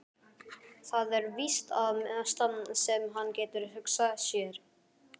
Það er víst það mesta sem hann getur hugsað sér.